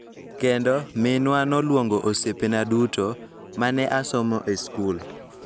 Kendo, minwa noluongo osiepena duto ma ne asomo e skul